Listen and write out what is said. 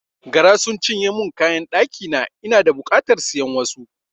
Gara sun cinye mun kayan ɗakina, ina da bukatar siyan wasu.